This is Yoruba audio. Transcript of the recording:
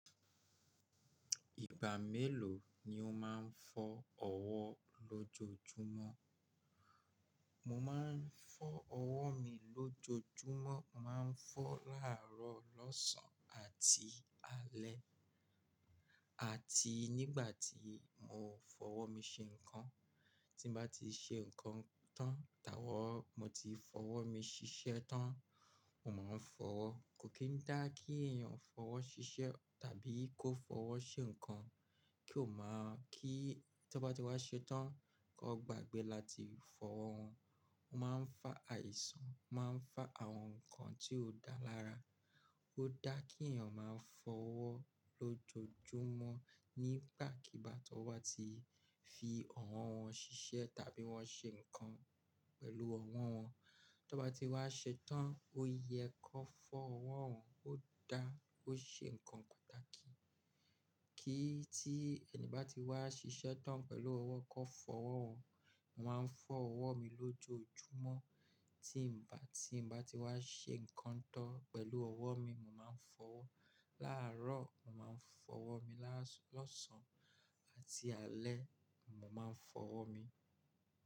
Ìgbà mélòó ni o máa ń fọ ọwọ́ lójoojúmọ́? Mo máa ń fọ ọwọ́ mi lójoojúmọ́, màá ń fọ láàárọ̀, lọ́sàn-án àti alẹ́. Àti nígbà tí mò ń fọwọ́ mi ṣe nǹkan, tí bá ti ṣe nǹkan tán, tabi mo ti fọwọ́ mi ṣiṣẹ́ tán, mò máa ń fọwọ́. Kò kí n dá kí èèyàn fọwọ́ ṣiṣẹ́ tàbí kó fọwọ́ ṣe nǹkan, kí ó máa kí tí wọ́n bá ti wá ṣetán kó gbàgbé láti fọwọ́ wọn. Ó máa ń fá àìsàn, máa ń fá àwọn nǹkan tí ó dá lára. Ó dá kí èèyàn máa fọ ọwọ́ lójoojúmọ́ nígbàkigbà tí wọ́n bá ti fi ọwọ́ wọn ṣiṣẹ́ tàbí wọ́n ṣe nǹkan pẹ̀lú ọwọ́ wọn. Tí wọ́n bá ti wá ṣetán, ó yẹ kó fọ ọwọ́ wọn, ó dá, ó ṣe nǹkan pàtàkì. Kí tí ẹni bá ti wá ṣiṣẹ́ tán pẹ̀lú ọwọ́, kó fọwọ́ wọn. Mo máa ń fọ ọwọ́ mi lójoojúmọ́, tí mo bá, tí mo bá ti wá ṣe nǹkan tán pẹ̀lú ọwọ́ mi, mo máa ń fọwọ́. Láàárọ̀, mò máa ń fọwọ́ mi, lás-- lọ́sàn-án àti alẹ́, mò máa ń fọwọ́ mi.